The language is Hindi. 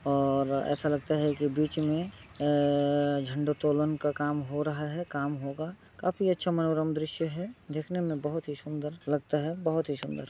और ऐसा लगता है कि बीच में अ झंडोतोलन का काम हो रहा है काम होगा। काफी अच्छा मनोरम दृश्य है। देखने में बहोत ही सुन्दर लगता है बहोत ही सुन्दर।